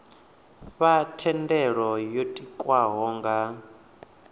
fha thendelo yo tikwaho nga